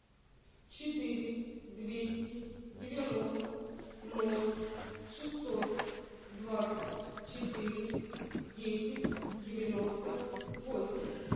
четыре двести девяносто ноль шестьсот двадцать четыре десять девяносто восемь